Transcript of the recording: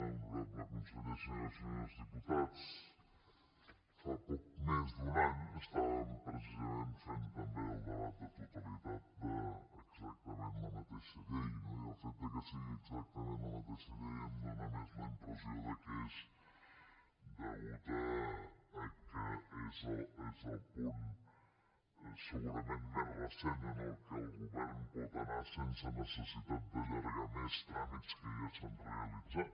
honorable conseller senyores i senyors diputats fa poc menys d’un any estàvem precisament fent també el debat de totalitat d’exactament la mateixa llei no i el fet que sigui exactament la mateixa llei em dóna més la impressió que és a causa que és el punt segurament més recent en què el govern pot anar sense necessitat d’allargar més tràmits que ja s’han realitzat